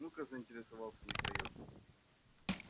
ну-ка заинтересовался михаил